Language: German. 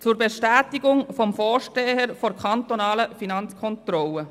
Zur Bestätigung des Vorstehers der kantonalen Finanzkontrolle: